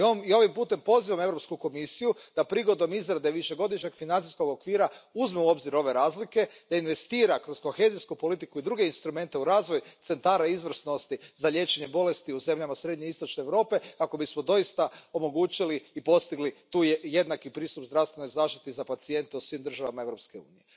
I ovim putem pozivam Europsku komisiju da prigodom izrade Višegodišnjeg financijskog okvira uzme u obzir ove razlike, da investira kroz kohezijsku politiku i druge instrumente u razvoj centara izvrsnosti za liječenje bolesti u zemljama srednje i istočne Europe kako bismo doista omogućili i postigli tu jednaki pristup zdravstvenoj zaštiti za pacijente u svim državama Europske unije.